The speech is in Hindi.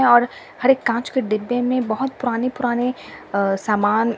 और हर एक कांच के डिब्बे में बहुत पुराने-पुराने सामान।